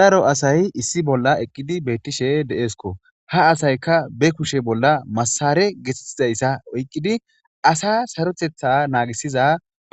daro asay issi bolla eqqidi beettishe deeesko ha asayka be kushe bolla masare getettizayssa oyqqidi asa sarotetha naagisiza